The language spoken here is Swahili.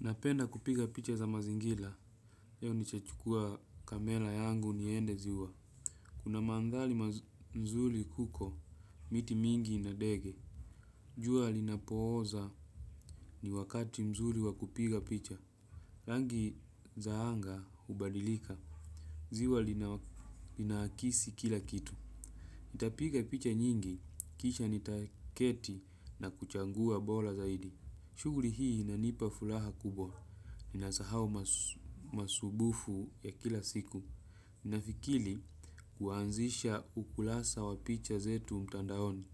Napenda kupiga picha za mazingira leo nitachukua kamera yangu niende ziwa. Kuna mandhari mzuri huko, miti mingi ina ndege. Jua linapooza ni wakati mzuri wa kupiga picha. Rangi za anga ubalilika, ziwa linakisi kila kitu. Nitapiga picha nyingi kisha nitaketi na kuchagua bora zaidi. Shughuli hii inanipa furaha kubwa. Ninasahau masumbufu ya kila siku. Ninafikiri kuanzisha ukurasa wa picha zetu mtandaoni.